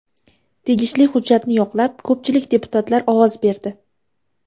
Tegishli hujjatni yoqlab ko‘pchilik deputatlar ovoz berdi.